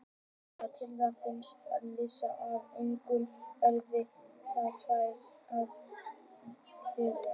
Til þess að finna lásagrasið hafa einkum verið nefndar tvær aðferðir.